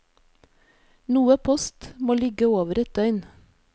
Noe post må ligge over et døgn.